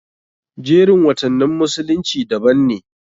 Jerin watannin musulunci daban ne.